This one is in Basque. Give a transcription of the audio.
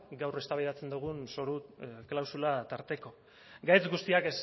gaur eztabaidatzen dugun zoru klausula tarteko gaitz guztiak